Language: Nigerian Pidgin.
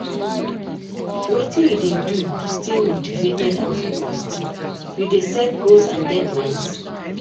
Wetin you dey do to stay motivated and focused, you dey set goals and deadlines?